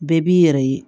Bɛɛ b'i yɛrɛ ye